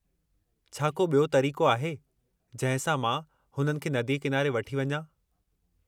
छा को ॿियो तरीक़ो आहे जंहिं सां मां हुननि खे नदीअ किनारे वठी वञां?